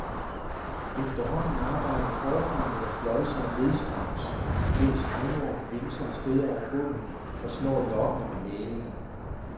Efterhånden arbejder forfang eller flåd sig nedstrøms, mens regnormen vimser afsted over bunden og slår lokkende med halen.